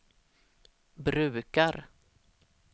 brukar